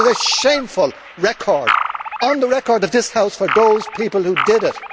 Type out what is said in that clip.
It is a shameful occurrence, on the record of this House, for those people who did it.